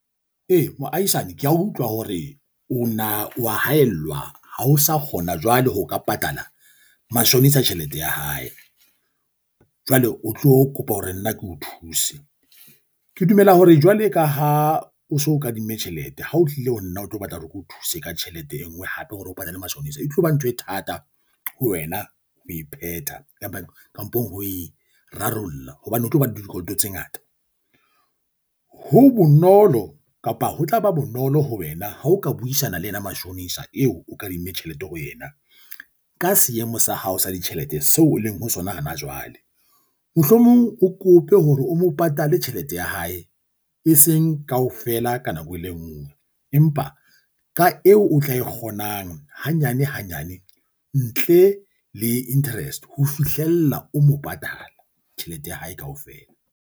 Ee, moahisani. Ke a utlwa hore o wa haellwa ha o sa kgona jwale ho ka patala mashonisa tjhelete ya hae. Jwale o tlo kopa hore nna ke o thuse. Ke dumela hore jwale ka ha o so o kadimme tjhelete, ha o tlile ho nna o tlo batla hore ke o thuse ka tjhelete e nngwe hape hore o patale mashonisa. E tloba ntho e thata ho wena, ho e phetha kapa kampong ho e rarolla hobane o tlo bana le dikoloto tse ngata. Ho bonolo kapa ho tlaba bonolo ho wena ha o ka buisana le yena mashonisa eo o kadimme tjhelete ho yena ka seemo sa hao sa ditjhelete seo o leng ho sona hana jwale. Mohlomong o kope hore o mo patale tjhelete ya hae, e seng kaofela ka nako e le nngwe. Empa ka eo o tla e kgonang hanyane hanyane ntle le interest ho fihlella o mo patala tjhelete ya hae kaofela.